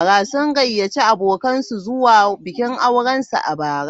Sun gayyaci abokansu zuwa bikin aurensu a bara.